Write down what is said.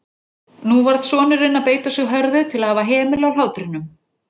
Nú varð sonurinn að beita sig hörðu til að hafa hemil á hlátrinum.